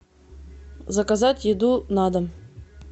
заказать еду на дом